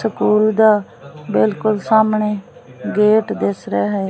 School ਦਾ ਬਿਲਕੁਲ ਸਾਹਮਣੇ ਗੇਟ ਦਿਸ ਰਿਹਾ ਹੈ।